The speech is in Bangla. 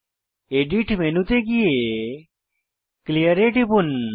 এডিট মেনুতে গিয়ে ক্লিয়ার এ টিপুন